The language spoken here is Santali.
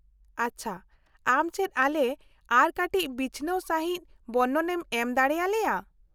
-ᱟᱪᱪᱷᱟ, ᱟᱢ ᱪᱮᱫ ᱟᱞᱮ ᱟᱨ ᱠᱟᱹᱴᱤᱡ ᱵᱤᱪᱷᱱᱟᱹᱣ ᱥᱟᱹᱦᱤᱡ ᱵᱚᱨᱱᱚᱱᱮᱢ ᱮᱢ ᱫᱟᱲᱮᱭᱟᱞᱮᱭᱟ ?